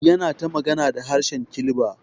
Yana ta magana da harshe Kilba.